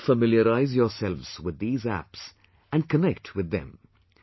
Do familiarise yourselves with these Apps and connect with them